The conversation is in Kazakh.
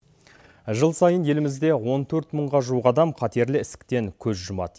жыл сайын елімізде он төрт мыңға жуық адам қатерлі ісіктен көз жұмады